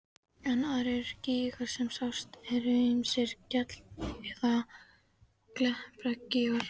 en aðrir gígar sem sjást eru ýmist gjall- eða klepragígar.